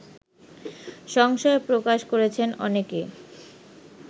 সংশয় প্রকাশ করেছেন অনেকে